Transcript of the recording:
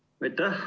Aitäh!